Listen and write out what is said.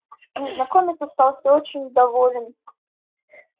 незнакомец остался очень доволен